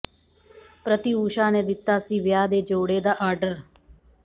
ਪ੍ਰਤਿਊਸ਼ਾ ਨੇ ਦਿੱਤਾ ਸੀ ਵਿਆਹ ਦੇ ਜੋੜੇ ਦਾ ਆਰਡਰ